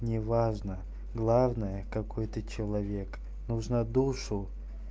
неважно главное какой-то человек нужно душу